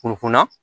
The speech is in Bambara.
Kunna